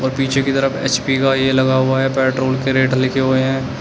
और पीछे की तरह एच_पी का ये लगा हुआ है पेट्रोल के रेट लिखे हुए है।